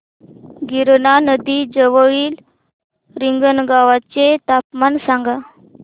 गिरणा नदी जवळील रिंगणगावाचे तापमान सांगा